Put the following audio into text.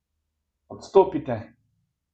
Odstopite!